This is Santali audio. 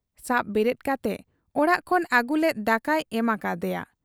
ᱥᱟᱵ ᱵᱮᱨᱮᱫ ᱠᱟᱛᱮ ᱚᱲᱟᱜ ᱠᱷᱚᱱ ᱟᱹᱜᱩ ᱞᱮᱫ ᱫᱟᱠᱟᱭ ᱮᱢ ᱟᱠᱟ ᱦᱟᱫᱮᱭᱟ ᱾